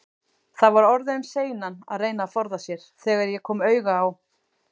Það var orðið um seinan að reyna að forða sér, þegar ég kom auga á